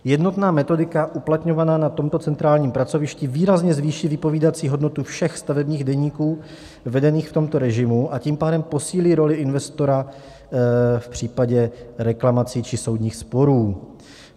Jednotná metodika uplatňovaná na tomto centrálním pracovišti výrazně zvýší vypovídací hodnotu všech stavebních deníků vedených v tomto režimu, a tím pádem posílí roli investora v případě reklamací či soudních sporů.